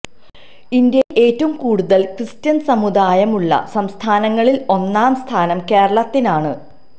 ഇന്ത്യയില് ഏറ്റവും കൂടുതല് ക്രിസ്ത്യന് സമുദായം ഉള്ള സംസ്ഥാനങ്ങളില് ഒന്നാം സ്ഥാനം കേരളത്തിനാണ്